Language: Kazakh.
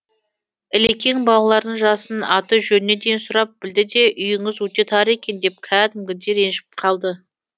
ілекең балалардың жасын аты жөніне дейін сұрап білді де үйіңіз өте тар екен деп кәдімгідей ренжіп қалды